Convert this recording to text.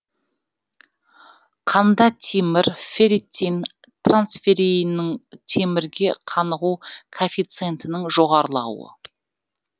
қанда темір ферритин трансферриннің темірге қанығу коэффициентінің жоғарылауы